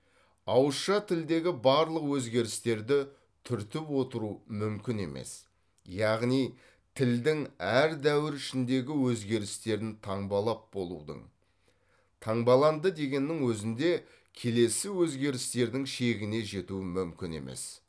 ауызша тілдегі барлық өзгерістерді түртіп отыру мүмкін емес яғни тілдің әр дәуір ішіндегі өзгерістерін таңбалап болудың таңбаланды дегеннің өзінде келесі өзгерістердің шегіне жету мүмкін емес